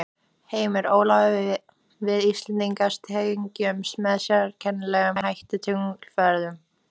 Heimir: Ólafur við Íslendingar tengjumst með sérkennilegum hætti tunglferðunum?